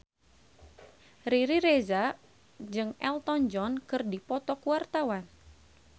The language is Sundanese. Riri Reza jeung Elton John keur dipoto ku wartawan